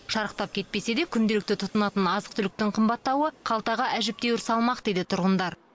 шарықтап кетпесе де күнделікті тұтынатын азық түліктің қымбаттауы қалтаға әжептеуір салмақ дейді тұрғындар